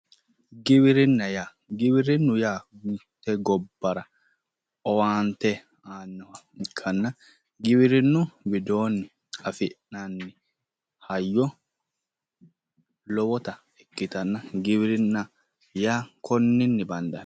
Giwirinna yaa giwirinnu yaa mitte gobbara owaante aannoha ikkanna giwirinnu widoonni afi'nanni hayyo lowota ikkitanna, giwirinna yaa konninni bandanni.